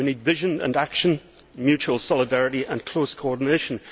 we need vision and action, mutual solidarity and close coordination.